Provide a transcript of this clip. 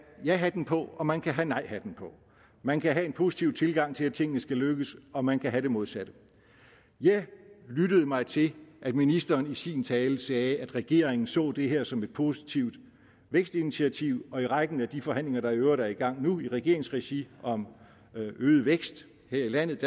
jahatten på og man kan have nejhatten på man kan have en positiv tilgang til at tingene skal lykkes og man kan have det modsatte jeg lyttede mig til at ministeren i sin tale sagde at regeringen så det her som et positivt vækstinitiativ og i rækken af de forhandlinger der i øvrigt er i gang nu i regeringsregi om øget vækst her i landet